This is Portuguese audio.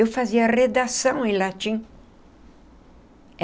Eu fazia redação em latim.